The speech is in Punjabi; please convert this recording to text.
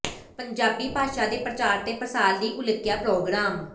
ਪੰਜਾਬੀ ਭਾਸ਼ਾ ਦੇ ਪ੍ਰਚਾਰ ਤੇ ਪਸਾਰ ਲਈ ਉਲੀਕਿਆ ਪ੍ਰੋਗਰਾਮ